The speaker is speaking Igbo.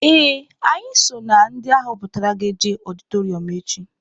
Ee, anyị so na ndị aghọpụtara ga-eje ọdịtọrịọm echi.